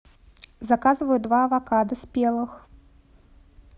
заказываю два авокадо спелых